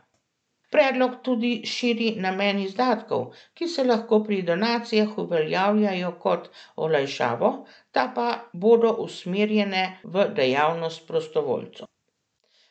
Predlog tudi širi namen izdatkov, ki se lahko pri donacijah uveljavljajo kot olajšavo, te pa bodo usmerjene v dejavnost prostovoljcev.